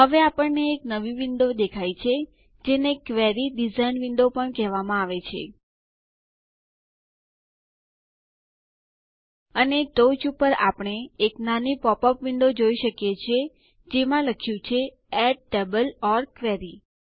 હવે આપણને એક નવી વિન્ડો દેખાય છે જેને ક્વેરી ડિઝાઇન વિન્ડો પણ કહેવાય છે અને ટોંચ ઉપર આપણે એક નાની પોપ અપ વિન્ડો જોઈ શકીએ છીએ જેમાં લખ્યું છે એડ ટેબલ ઓર ક્વેરી